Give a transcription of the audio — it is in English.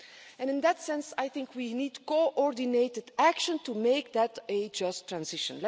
And in that sense, I think we need coordinated action to make that a just transition.